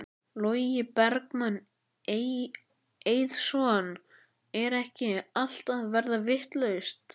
Logi Bergmann Eiðsson: Er ekki allt að verða vitlaust?